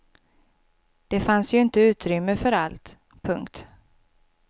Det fanns ju inte utrymme för allt. punkt